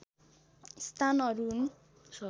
स्थानहरू हुन्